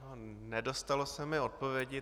Nedostalo se mi odpovědi.